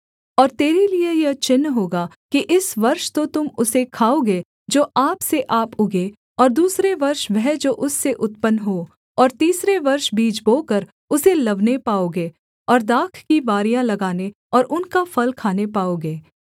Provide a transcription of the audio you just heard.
और तेरे लिये यह चिन्ह होगा कि इस वर्ष तो तुम उसे खाओगे जो आप से आप उगें और दूसरे वर्ष वह जो उससे उत्पन्न हो और तीसरे वर्ष बीज बोकर उसे लवने पाओगे और दाख की बारियाँ लगाने और उनका फल खाने पाओगे